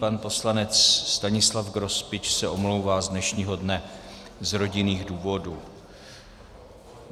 Pan poslanec Stanislav Grospič se omlouvá z dnešního dne z rodinných důvodů.